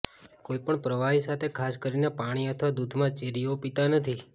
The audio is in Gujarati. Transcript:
કોઈપણ પ્રવાહી સાથે ખાસ કરીને પાણી અથવા દૂધમાં ચેરીઓ પીતા નથી